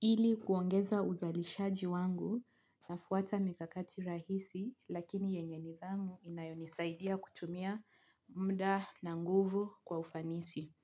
Ili kuongeza uzalishaji wangu nafuata mikakati rahisi lakini yenye nithamu inayonisaidia kutumia mda na nguvu kwa ufanisi.